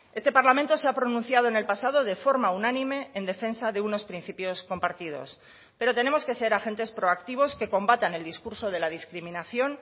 este parlamento se ha pronunciado en el pasado de forma unánime en defensa de unos principios compartidos pero tenemos que ser agentes proactivos que combatan el discurso de la discriminación